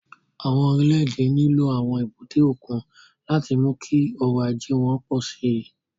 Àwọn orílẹ̀-èdè nílò àwọn èbúté òkun láti mú kí ọrọ̀ ajé wọn pọ̀ sí i.